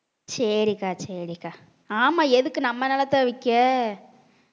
சரிக்கா சரிக்கா ஆமா எதுக்கு நம்ம நிலத்தை விக்க